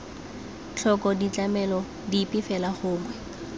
tlhoko ditlamelo dipe fela gongwe